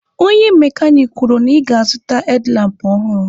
Onye mekanik kwuru na ị ga-azụta hedlampụ ọhụrụ.